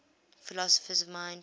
philosophers of mind